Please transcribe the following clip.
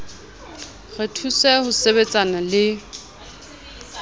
re thuse ho sebetsana le